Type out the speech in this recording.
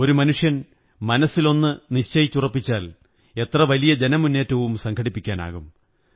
ഒരു മനുഷ്യൻ മനസ്സിലൊന്നു നിശ്ചയിച്ചുറപ്പിച്ചാൽ എത്ര വലിയ ജനമുന്നേറ്റവും സംഘടിപ്പിക്കാനാകും